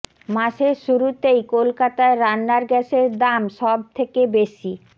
মাসের শুরুতেই কলকাতায় রান্নার গ্যাসের দাম সব থেকে বেশি